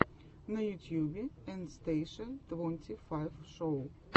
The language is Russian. на ютьюбе эн стейша твонти файв шоу